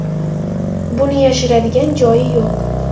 Buni yashiradigan joyi yo‘q.